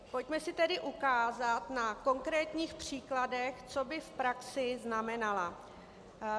Pojďme si tedy ukázat na konkrétních příkladech, co by v praxi znamenala.